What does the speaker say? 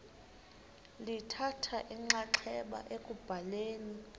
lithatha inxaxheba ekubhaleni